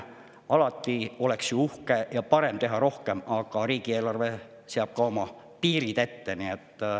Alati oleks ju uhke ja parem teha rohkem, aga riigieelarve seab oma piirid ette.